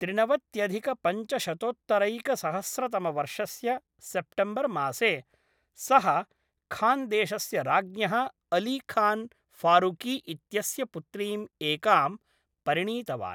त्रिनवत्यधिकपञ्चशतोत्तरैकसहस्रतमवर्षस्य September मासे, सः खान्देशस्य राज्ञः अली खान् फारुकी इत्यस्य पुत्रीम् एकां परिणीतवान्।